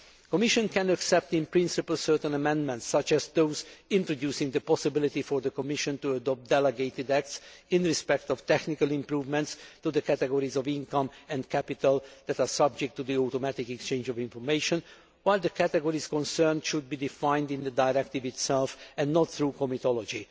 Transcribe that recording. The Commission can accept, in principle, certain amendments, such as those introducing the possibility of the Commission adopting delegated acts in respect of technical improvements to the categories of income and capital that are subject to the automatic exchange of information, while the categories concerned should be defined in the directive itself and not through comitology.